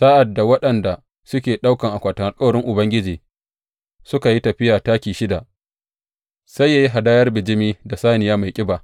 Sa’ad da waɗanda suke ɗaukan akwatin alkawarin Ubangiji suka yi tafiya taki shida, sai yă yi hadayar bijimi da saniya mai ƙiba.